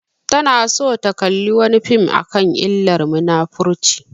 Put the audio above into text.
Tana so ta kalla wani fim akan illar munafurci